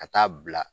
Ka taa bila